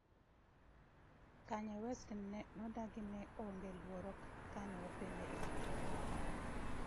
Kanye West nodagi ni ne onge luoro kane openje ewi Trump